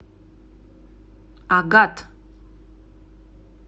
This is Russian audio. агат